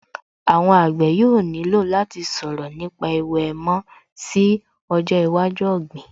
Àwọn àgbẹ̀ yóò nílò láti sọ̀rọ̀ nípa ẹ̀wù èèmọ̀ sí ọjọ́ iwájú ọ̀gbìn